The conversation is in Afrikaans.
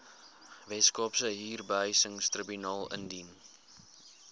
weskaapse huurbehuisingstribunaal indien